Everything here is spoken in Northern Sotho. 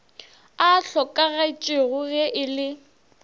a hlokagetšego ge e le